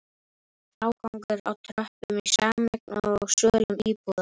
Frágangur á tröppum í sameign og á svölum íbúða?